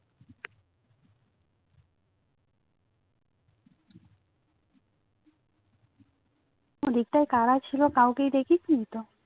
ঐদিকটাই করা ছিল কাওকেই দেখে চিনতো